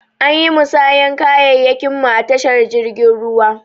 Anyi musayan kayayyakin mu a tashar jirgin ruwa.